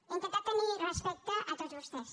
he intentat tenir respecte a tots vostès